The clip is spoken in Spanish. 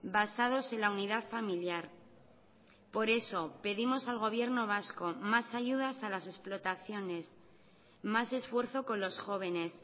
basados en la unidad familiar por eso pedimos al gobierno vasco más ayudas a las explotaciones más esfuerzo con los jóvenes